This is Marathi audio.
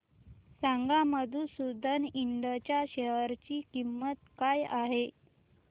सांगा मधुसूदन इंड च्या शेअर ची किंमत काय आहे